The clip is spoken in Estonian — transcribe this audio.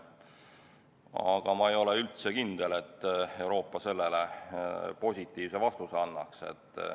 Aga ma ei ole üldse kindel, et Euroopa sellele positiivse vastuse annab.